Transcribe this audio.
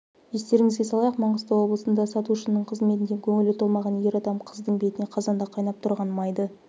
естеріңізге салайық маңғыстау облысында сатушының қызметіне көңілі толмаған ер адам қыздың бетіне қазанда қайнап тұрған майды